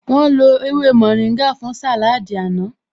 Wọ́n lo ewé mórìngà fún sàláádì àná